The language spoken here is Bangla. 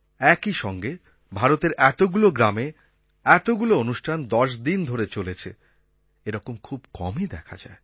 একই সঙ্গে ভারতের এতগুলো গ্রামে এতগুলো অনুষ্ঠান দশ দিন ধরে চলেছে এরকম খুব কমই দেখা যায়